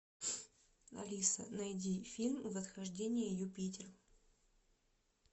алиса найди фильм восхождение юпитер